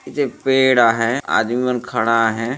ए जग पेड़ आहय आदमी मन खड़ा आहय।